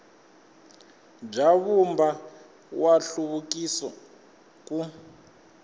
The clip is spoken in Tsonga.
bya vumbano wa nhluvukiso ku